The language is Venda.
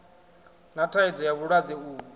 na thaidzo ya vhulwadze uvhu